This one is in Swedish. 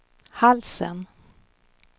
halsen